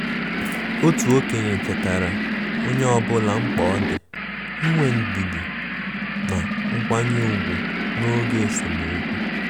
Otu okenye chetaara onye ọbụla mkpa ọ dị inwe ndidi na nkwanye ùgwù n' oge esemokwu.